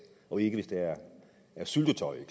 og ikke hvis der er syltetøj i